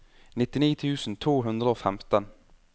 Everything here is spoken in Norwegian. nittini tusen to hundre og femten